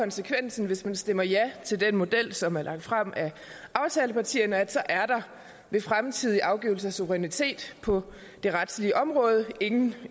konsekvensen hvis man stemmer ja til den model som er lagt frem af aftalepartierne at så er der ved fremtidig afgivelse af suverænitet på det retslige område ingen